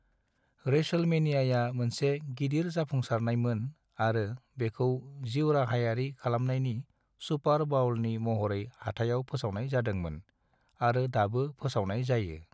रेसलमेनियाया मोनसे गिदिर जाफुंसारनायमोन आरो बेखौ जिउराहायारि खमलायनायनि सुपर बाउलनि महरै हाथायाव फोसावनाय जादोंंमोन आरो दाबो फोसावनाय जायो।